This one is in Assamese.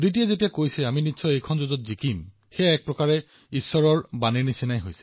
আৰু যেতিয়া অদিতিয়ে কৈছে আমি নিশ্চিতভাৱে জয়ী হম তেতিয়া এয়া ঈশ্বৰৰ বাণী হৈ পৰে